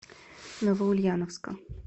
новоульяновска